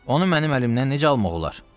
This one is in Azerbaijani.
Onu mənim əlimdən necə almaq olar?